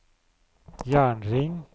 jernring